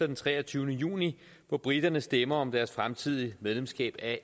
den treogtyvende juni hvor briterne stemmer om deres fremtidige medlemskab af